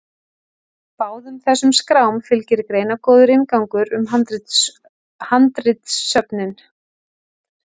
Báðum þessum skrám fylgir greinargóður inngangur um handritasöfnin.